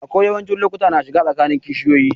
Aƙwai yawancin lokuta na kishi tsakanin kishiyoƴi.